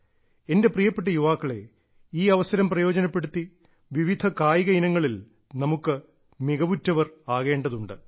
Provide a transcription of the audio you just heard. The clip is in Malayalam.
എന്റെ പ്രിയപ്പെട്ട യുവാക്കളെ ഈ അവസരം പ്രയോജനപ്പെടുത്തി വിവിധ കായിക ഇനങ്ങളിൽ നമുക്ക് മികവുറ്റവർ ആകേണ്ടതുണ്ട്